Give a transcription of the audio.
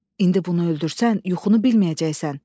İndi bunu öldürsən, yuxunu bilməyəcəksən.